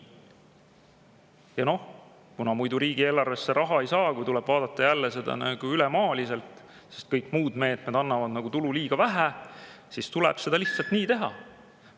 Ja noh, muidu riigieelarvesse raha ei saa, kui tuleb vaadata ülemaaliselt: kuna kõik muud meetmed annavad tulu liiga vähe, siis seda lihtsalt tuleb nii teha.